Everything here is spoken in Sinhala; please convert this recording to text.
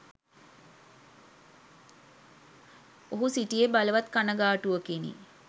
ඔහු සිටියේ බලවත් කනගාටුවකිනි